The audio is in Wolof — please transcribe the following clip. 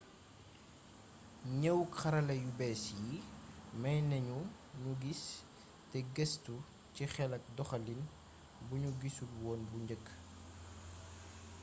gneewuk xarala yu béss yi maynagnu gnu giss te geestu ci xél ak doxalin bugnu gissulwoon bu njeek